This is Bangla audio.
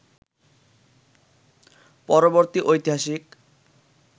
পরবর্তী ঐতিহাসিক